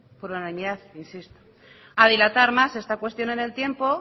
por unanimidad insisto a dilatar más esta cuestión en el tiempo